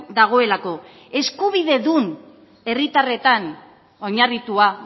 dagoelako eskubidedun herritarretan oinarritua